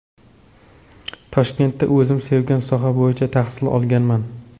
Toshkentda o‘zim sevgan soha bo‘yicha tahsil olganman.